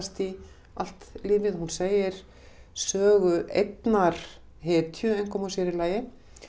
í allt lífið hún segir sögu einnar hetju einkum og sér í lagi